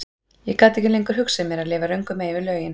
Ég gat ekki lengur hugsað mér að lifa röngu megin við lögin.